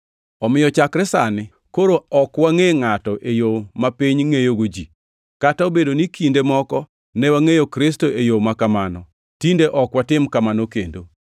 Omiyo chakre sani koro ok wangʼe ngʼato e yo mapiny ngʼeyogo ji. Kata obedo ni kinde moko ne wangʼeyo Kristo e yo makamano, tinde ok watim kamano kendo.